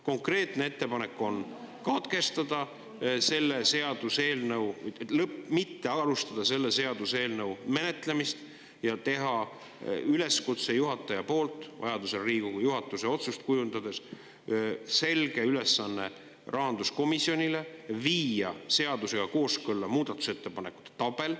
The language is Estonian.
Konkreetne ettepanek on katkestada selle seaduseelnõu …, mitte alustada selle seaduseelnõu menetlemist ja juhatajal vajaduse korral Riigikogu juhatuse otsust kujundades anda selge ülesanne rahanduskomisjonile: viia muudatusettepanekute tabel seadusega kooskõlla.